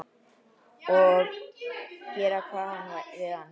Og gera hvað við hann?